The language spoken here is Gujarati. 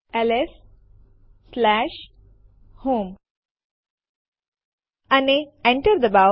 એલએસ સ્પેસ હોમ અને Enter દબાવો